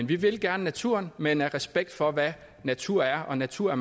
vi vil gerne naturen men i respekt for hvad natur er og natur